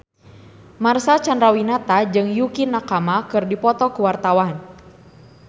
Marcel Chandrawinata jeung Yukie Nakama keur dipoto ku wartawan